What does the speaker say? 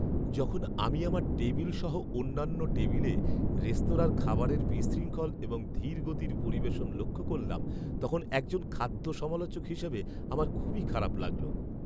যখন আমি আমার টেবিল সহ অন্যান্য টেবিলে রেস্তোরাঁর খাবারের বিশৃঙ্খল এবং ধীর গতির পরিবেশন লক্ষ করলাম, তখন একজন খাদ্য সমালোচক হিসেবে আমার খুবই খারাপ লাগল।